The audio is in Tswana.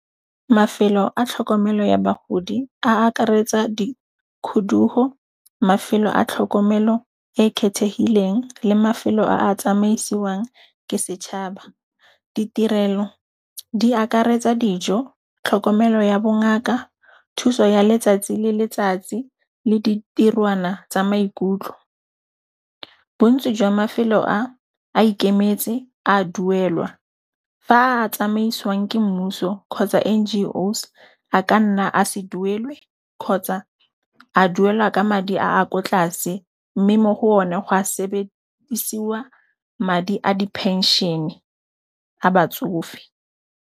Mafelo a tlhokomelo ya bagodi a akaretsa di kgudugo, mafelo a tlhokomelo e e kgethehileng le mafelo a tsamaisiwang ke setšhaba. Ditirelo di akaretsa dijo, tlhokomelo ya bongaka, thuso ya letsatsi le letsatsi le ditirwana tsa maikutlo, bontsi jwa mafelo a a ikemetse a duelwa, fa a tsamaisiwang ke mmuso kgotsa N_G_O's a ka nna a se duelwe kgotsa a duelwa ka madi a kwa tlase, mme mo go one go a sebedisiwa madi a di phenšene a batsofe.